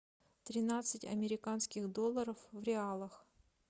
тринадцать американских долларов в реалах